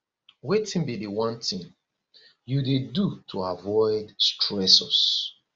wetin be di one thing you dey do to avoid stressors